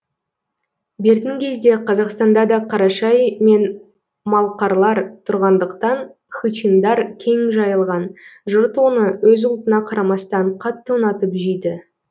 бертін кезде қазақстанда да қарашай мен малқарлар тұрғандықтан хычиндар кең жайылған жұрт оны өз ұлтына қарамастан қатты ұнатып жейді